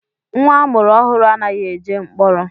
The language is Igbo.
Nwa amụrụ ọhụrụ anaghị eje mkpọrọ